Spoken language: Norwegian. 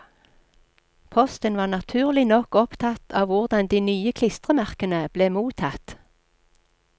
Posten var naturlig nok opptatt av hvordan de nye klistremerkene ble mottatt.